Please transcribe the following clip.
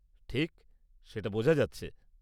ঠিক! সেটা বোঝা যাচ্ছে।